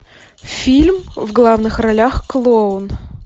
фильм в главных ролях клоун